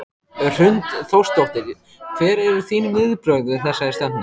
Hrund Þórsdóttir: Hver eru þín viðbrögð við þessari stefnu?